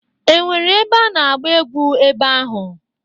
E nwere ebe a na-agba egwu ebe ahụ?